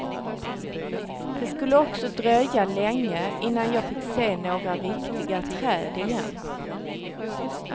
Det skulle också dröja länge innan jag fick se några riktiga träd igen.